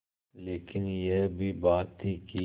लेकिन यह भी बात थी कि